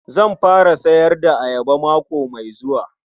Zan fara sayar da ayaba mako mai zuwa.